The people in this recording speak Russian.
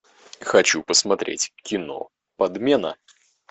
хочу посмотреть кино подмена